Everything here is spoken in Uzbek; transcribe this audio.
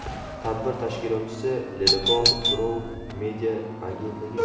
Tadbir tashkilotchisi Ledokol Group media agentligi.